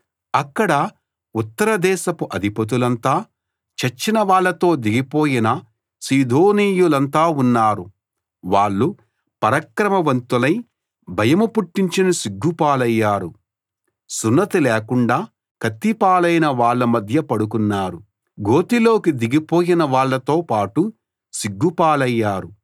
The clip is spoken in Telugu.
అక్కడ ఉత్తర దేశపు అధిపతులంతా చచ్చిన వాళ్ళతో దిగిపోయిన సీదోనీయులంతా ఉన్నారు వాళ్ళు పరాక్రమవంతులై భయం పుట్టించినా సిగ్గు పాలయ్యారు సున్నతి లేకుండా కత్తి పాలైన వాళ్ళ మధ్య పడుకున్నారు గోతిలోకి దిగిపోయిన వాళ్ళతో పాటు సిగ్గుపాలయ్యారు